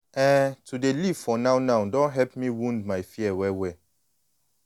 ehn to dey live for now-now don help me wound my fear well-well.